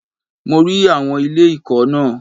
Mo rí àwọn ilé ìkọ́ náà.